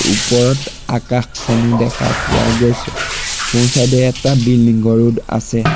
ওপৰত আকাশখনো দেখা পোৱা গৈছে সোঁ-চাইড এ এটা বিল্ডিং ঘৰো আছে।